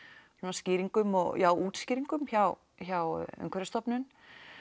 skýringum og já útskýringum hjá hjá Umhverfisstofnun